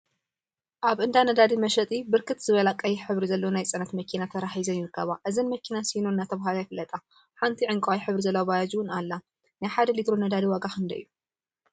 አብ እንዳ ነዳዲ መሸጢ ብርክት ዝበላ ቀይሕ ሕብሪ ዘለዎን ናይ ፅዕነት መኪና ተራ ሒዘን ይርከባ፡፡ እዘን መኪና ሲኖ እናተብሃላ ይፍለጣ፡፡ ሓንቲ ዕንቋይ ሕብሪ ዘለዋ ባጃጅ እውን አላ ፡፡ ናይ ሓደ ሊትሮ ነዳዲ ዋጋ ክንደይ እዩ?